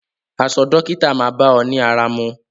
Aṣọ dókítà máa bá ọ ní ara mu.